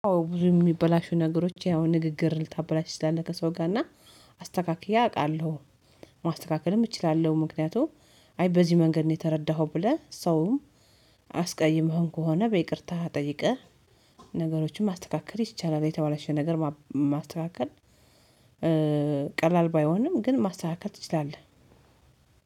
አዎ ብዙ የሚበላሹ ነገሮች ያው ንግግር ልታበላሽ ትችላለህ ከሰው ጋር እና አስተካክዬ አውቃለሁ። ማስተካከልም እችላለሁ ምክንያቱም አይ በዚህ መንገድ ነው የተረዳኸው ብለህ ሰውም አስቀይመኸን ከሆነ በይቅርታ ጠይቀህ ነገሮችን ማስተካከል ይቻላል የተባለሽ ነገር ማስተካከል ቀላል ባይሆንም ግን ማስተካከል ትችላለህ።